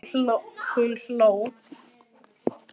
Hún hló.